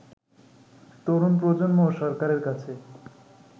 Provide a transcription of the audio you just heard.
তরুণ প্রজন্ম ও সরকারের কাছে